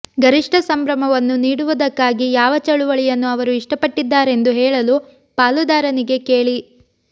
ಗರಿಷ್ಠ ಸಂಭ್ರಮವನ್ನು ನೀಡುವುದಕ್ಕಾಗಿ ಯಾವ ಚಳವಳಿಯನ್ನು ಅವರು ಇಷ್ಟಪಟ್ಟಿದ್ದಾರೆಂದು ಹೇಳಲು ಪಾಲುದಾರನಿಗೆ ಕೇಳಿ